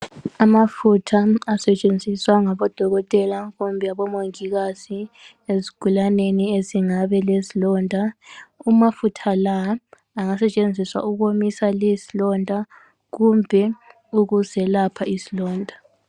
Amafutha asetshenziswa ngabodokotela kumbe abomongikazi ezigulaneni ezingabe lezilonda amafutha la angasetshenziswa ukuwomisa lezilonda kumbe ukuzelapha izilonda.